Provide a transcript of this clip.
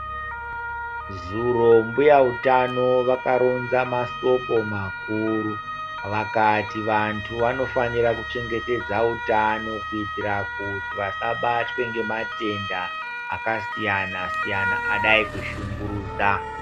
Zuro mbuya utano vakaronza mashoko makuru vakati vantu vanofanira kuchengetedza utano kuitira kuti vasabatwe nematenda akasiyana siyana adai kushungurudza.